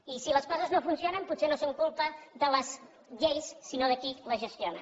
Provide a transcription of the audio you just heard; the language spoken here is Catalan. i si les coses no funcionen potser no és culpa de les lleis sinó de qui les gestiona